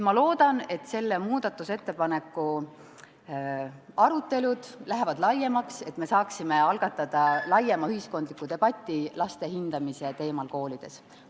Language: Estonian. Ma loodan, et selle muudatusettepaneku arutelud lähevad laiemaks ja me saame algatada ulatuslikuma ühiskondliku debati laste hindamisest koolides.